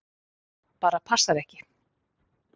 Bara passar ekki!